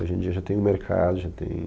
Hoje em dia já tem um mercado, já tem...